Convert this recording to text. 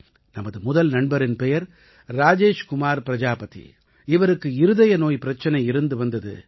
நமது முதல் நண்பரின் பெயர் ராஜேஷ் குமார் பிரஜாபதி இவருக்கு இருதய நோய் பிரச்சனை இருந்து வந்தது